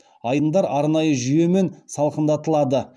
айдындар арнайы жүйемен салқындатылады